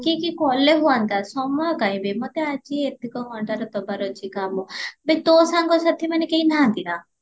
ଡାକିକି କାଲେ ହୁଅନ୍ତ ସମୟ କାଇଁ ବେ ମତେ ଆଜି ଏତିକା ଘଣ୍ଟାର ଦବାର ଅଛି କାମ ବେ ତୋ ସାଙ୍ଗ ସେଠି କେହି ନାହାନ୍ତି ନା